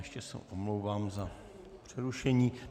Ještě se omlouvám za přerušení.